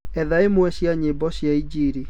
etha ĩmwe cĩa nyĩmbo cĩa ĩnjĩlĩ